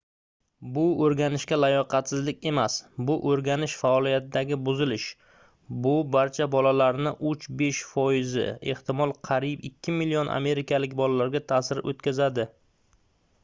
bu oʻrganishga layoqatsizlik emas bu oʻrganish faoliyatidagi buzilish bu barcha bolalarning 3-5 foizi ehtimol qariyb 2 million amerikalik bolalarga taʼsir oʻtkazadi